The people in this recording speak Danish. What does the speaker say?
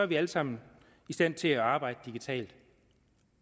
vi alle sammen i stand til at arbejde digitalt